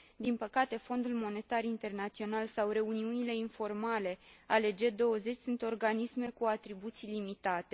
Din păcate, Fondul Monetar Internațional sau reuniunile informale ale G20 sunt organisme cu atribuții limitate.